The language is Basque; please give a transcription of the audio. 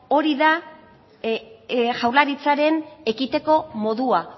hori da jaurlaritzaren ekiteko modua